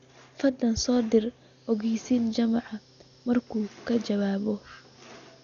fadlan u soo dir ogeysiin juma markuu ka jawaabo